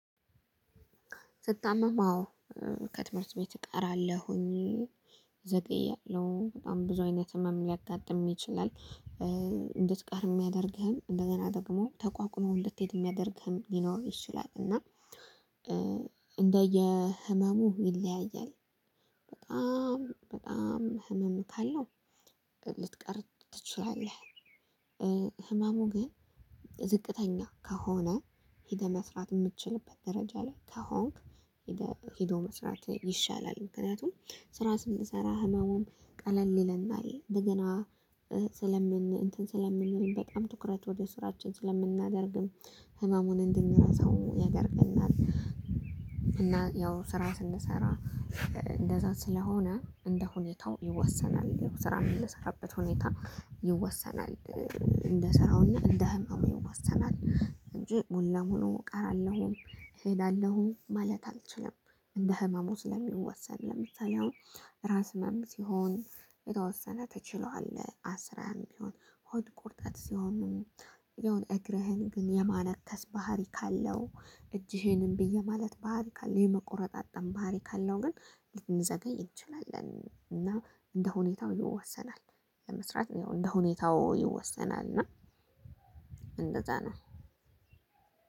ስታመም አዎ። ከትምህርት ቤት እቀራለሁኝ ዘጤ እያለው በጣም ብዙ አይነት ህመም ሊያጋጥም ይችላል። እንድትቀር የሚያደርግህን እንደገና ደግሞ ተቋቁሞ እንድትሄድ የሚያደርግህም ሊኖር ይችላል። እና እንደየ ህመሙ ይለያያል። በጣም በጣም ህመም ካለው ልትቀር ትችያለህ። ህመሙ ግን ዝቅተኛ ከሆነ ሄደ መስራት የምትችልበት ደረጃ ላይ ተሆንክ። ሄዶ መስራት ይሻላል ምክንያቱም ስራ ስንሰራ ህመሙም ቀለል ይለናል። እንደገና ስለምን እንትን ስለምን በጣም ትኩረት ወደ ስራችን ስለምናደርግም ህመሙን እንድንረሳው ያደርገናል። እና ያው ስራ ስንሰራ እንደዛ ስለሆነ እንደ ሁኔታው ይወሰናል ስራ የምንሰራበት ሁኔታ ይወሰናል። እንደ ስራውና እንደ ህመሙዬው ወሰናል እንጂ ሙሉ ለሙሉ እቀራለሁ እሄዳለሁ ማለት አልችልም። እንደ ህመሙ ስለሚወሰን ለምሳሌ አሁን ራስ ህመም ሲሆን እየተወሰነ ትችለዋለህ። አስራህም ቢሆን ሆድ ቁርጠት ሲሆን። የሆነ እግርህን ግን የማነከስ ባህሪ ካለው እጅህንም ብዬ ማለት ባህሪ ካለው የመቆረጥ አጠመ ባህሪ ካለው ግን ልንዘገይ እንችላለን። እና እንደ ሁኔታው ይወሰናል። ለመስራት ያው እንደ ሁኔታው ይወሰናል እና እንደዛ ነው።